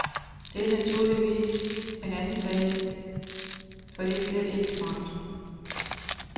Det er naturligvis en anden sag, for det er slet ikke smart.